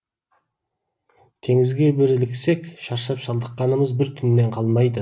теңізге бір іліксек шаршап шалдыққанымыз бір түннен қалмайды